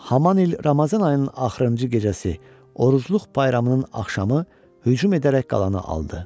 Haman il Ramazan ayının axırıncı gecəsi orucluq bayramının axşamı hücum edərək qalanı aldı.